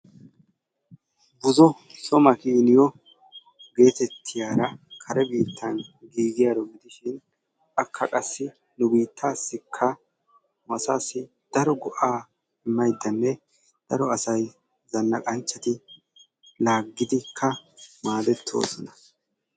Buzo so makiiniyo geetettiyaara kare biitan giigiyaaro gidishin akka qassi nu biitaassikka nu asaassi daro go'aa immaydda daro asay zanaqanchchati laaggidikka maadettoosona.